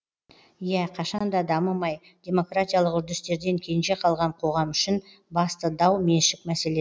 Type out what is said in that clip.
иә қашан да дамымай демократиялық үрдістерден кенже қалған қоғам үшін басты дау меншік мәселе